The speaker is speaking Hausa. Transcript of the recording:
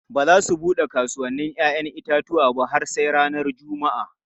Ba za su bude kasuwannin 'ya'yan itatuwa ba har sai ranar Juma'a.